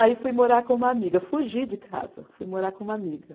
Aí fui morar com uma amiga, fugi de casa, fui morar com uma amiga.